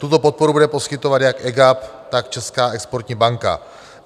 Tuto podporu bude poskytovat jak EGAP, tak Česká exportní banka.